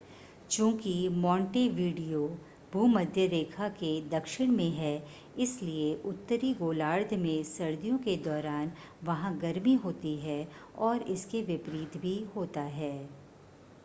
चूंकि मोंटेवीडियो भूमध्य रेखा के दक्षिण में है इसलिए उत्तरी गोलार्ध में सर्दियों के दौरान वहां गर्मी होती है और इसके विपरीत भी होता है